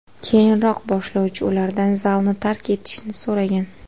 Keyinroq boshlovchi ulardan zalni tark etishni so‘ragan.